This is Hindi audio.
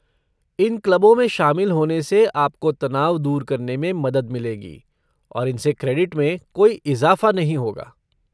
इन क्लबों में शामिल होने से आपको तनाव दूर करने में मदद मिलेगी, और इन से क्रेडिट में कोई इज़ाफ़ा नहीं होगा।